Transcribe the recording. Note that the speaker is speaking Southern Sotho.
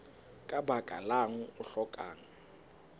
ka baka lang o hlokang